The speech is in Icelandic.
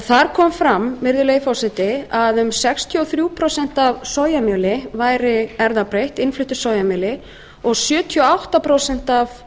þar kom fram að um sextíu og þrjú prósent af sojamjöli væri erfðabreytt og sjötíu og átta prósent af